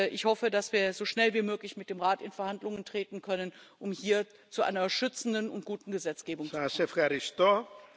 Ich hoffe, dass wir so schnell wie möglich mit dem Rat in Verhandlungen treten können, um hier zu einer schützenden und guten Gesetzgebung zu kommen.